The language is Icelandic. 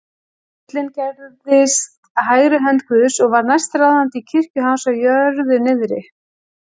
ullinn gerðist hægri hönd guðs og varð næstráðandi í kirkju hans á jörðu niðri.